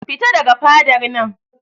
Fita daga fadar nan!